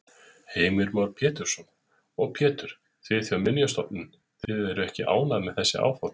Heimir Már Pétursson: Og Pétur, þið hjá Minjastofnun, þið eruð ekki ánægð með þessi áform?